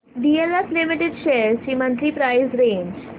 DLF limited shares ची monthly price range